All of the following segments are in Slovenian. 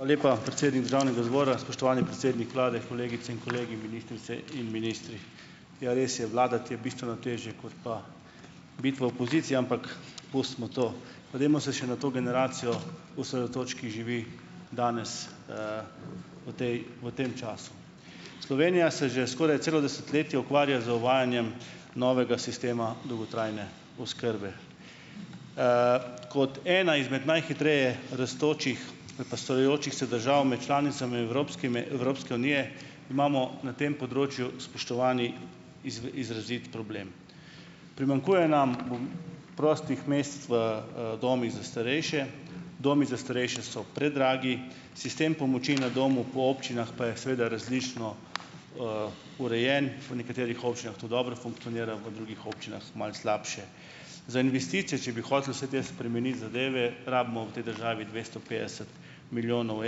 Hvala lepa, predsednik državnega zbora. Spoštovani predsednik vlade, kolegice in kolegi, ministrice in ministri! Ja, res je, vladati je bistveno težje, kot pa biti v opoziciji, ampak pustimo to, pa dajmo se še na to generacijo osredotočiti, ki živi danes, v tej v tem času. Slovenija se že skoraj celo desetletje ukvarja z uvajanjem novega sistema dolgotrajne oskrbe. Kot ena izmed najhitreje rastočih ali pa starajočih se držav med članicami evropskimi Evropske unije, imamo na tem področju, spoštovani, izrazit problem. Primanjkuje nam bom prostih mest v, domih za starejše, domi za starejše so predragi, sistem pomoči na domu po občinah pa je seveda različno, urejen, po nekaterih občinah to dobro funkcionira, v drugih občinah malo slabše. Za investicije, če bi hoteli vse te spremeniti zadeve, rabimo v tej državi dvesto petdeset milijonov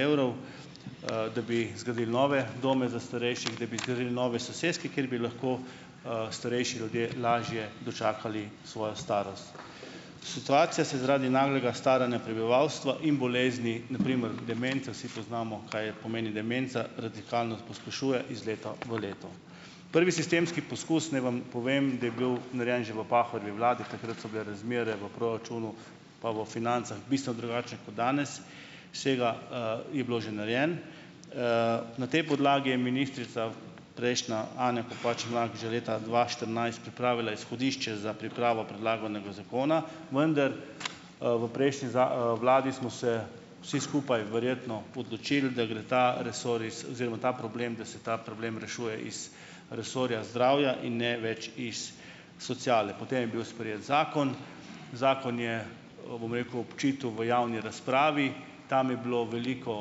evrov, da bi zgradili nove domove za starejši, da bi zgradili nove soseske, kjer bi lahko, starejši ljudje lažje dočakali svojo starost. Situacija se zaradi naglega staranja prebivalstva in bolezni, na primer demenca, vsi poznamo, kaj je pomeni demenca, radikalno pospešuje iz leta v leto. Prvi sistemski poskus, naj vam povem, da je bil narejen že v Pahorjevi vladi, takrat so bile razmere v proračunu pa v financah bistveno drugačne kot danes, sega, je bilo že narejeno. Na tej podlagi je ministrica prejšnja Anja Kopač Mrak že leta dva štirinajst pripravila izhodišče za pripravo predlaganega zakona, vendar, v prejšnji vladi smo se vsi skupaj verjetno odločili, da gre ta resor iz oziroma ta problem, da se ta problem rešuje iz resorja zdravja, in ne več iz sociale, potem je bil sprejet zakon. Zakon je o, bom rekel, obtičal v javni razpravi, tam je bilo veliko,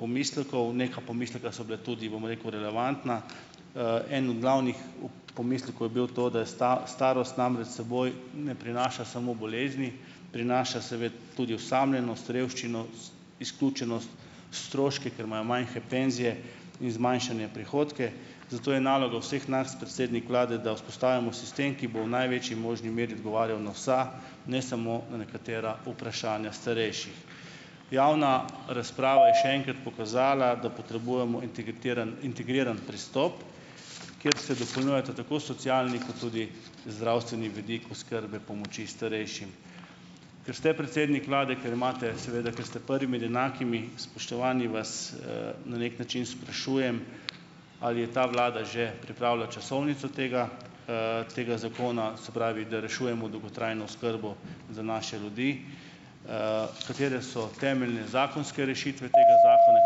pomislekov, nekaj pomislekov so bilo tudi, bom rekel, relevantnih, en od glavnih pomislekov je bil to, da je starost namreč s seboj ne prinaša samo bolezni, prinaša tudi osamljenost, revščino, izključenost, stroške, ker imajo majhne penzije in zmanjšane prihodke, zato je naloga vseh nas, predsednik vlade, da vzpostavimo sistem, ki bo v največji možni meri odgovarjal na vsa, ne samo na nekatera vprašanja starejših. Javna razprava je še enkrat pokazala, da potrebujemo integritiran integriran pristop, kjer se dopolnjujeta tako socialni kot tudi zdravstveni vidik oskrbe pomoči starejšim. Ker ste predsednik vlade, ker imate seveda, ker ste prvi med enakimi, spoštovani, vas, na neki način sprašujem ali je ta vlada že pripravila časovnico tega, tega zakona, se pravi, da rešujemo dolgotrajno oskrbo za naše ljudi, katere so temeljne zakonske rešitve tega zakona,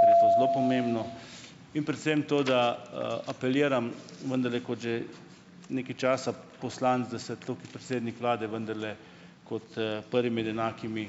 ker je to zelo pomembno, in predvsem to, da, apeliram, vendarle kot že nekaj časa poslanec, da se tu predsednik vlade vendarle kot, prvi med enakimi,